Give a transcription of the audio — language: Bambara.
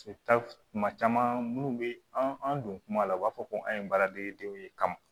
kuma caman minnu bɛ an don kuma la u b'a fɔ ko an ye baaradegedenw ye kamɔ